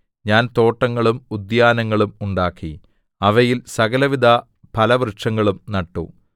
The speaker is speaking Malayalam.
ഞാൻ തോട്ടങ്ങളും ഉദ്യാനങ്ങളും ഉണ്ടാക്കി അവയിൽ സകലവിധ ഫലവൃക്ഷങ്ങളും നട്ടു